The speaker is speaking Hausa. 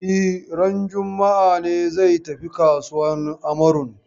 E, ranar juma'a ne zai tafi kasuwan Amarun.